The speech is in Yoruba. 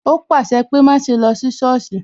O pàṣẹ pé "má ṣe lọ sí sọ́ọ̀sì"